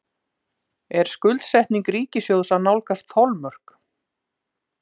Er skuldsetning ríkissjóðs að nálgast þolmörk?